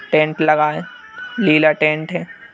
Tent लगा है Leela tent है।